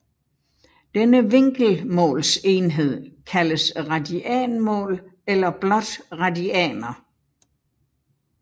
Denne vinkelmålsenhed kaldes radianmål eller blot radianer